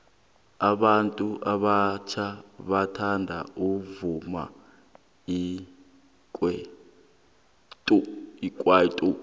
abantu abatjha bathanda umvumo wekwaito